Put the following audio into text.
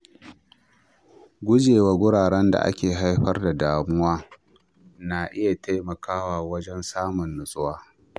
Guje wa wuraren da ke haifar da damuwa na iya taimakawa wajen samun natsuwa.